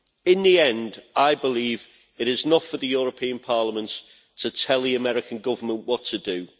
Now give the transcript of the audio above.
In the end, I believe it is not for the European Parliament to tell the US Government what to do.